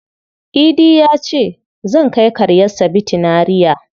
Idi ya ce, "Zan kai karyarsa Bitinariya".